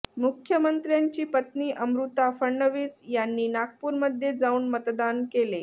मुख्यमंत्र्यांची पत्नी अमृता फडणवीस यांनी नागपूरमध्ये जाऊन मतदान केले